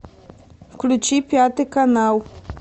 включи пятый канал